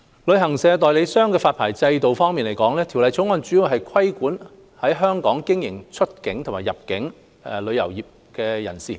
旅行代理商的發牌制度方面，《條例草案》主要規管在香港經營出境及入境旅遊業務活動的人士。